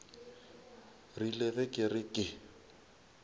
rile ge ke re ke